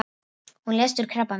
Hún lést úr krabbameini.